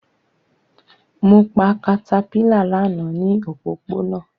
Mo pa caterpillar lana ni opopona